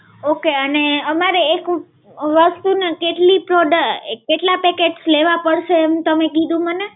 Okay. અને અમારે એક વસ્તુ ના કેટલી product કેટલા packets લેવા પડશે એમ તમે કીધું મને?